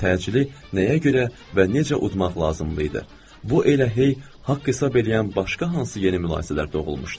Təcili nəyə görə və necə udmaq lazım idi, bu elə hey haqq hesab eləyən başqa hansı yeni mülahizələr doğulmuşdu.